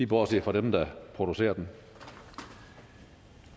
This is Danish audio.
bortset fra dem der producerer dem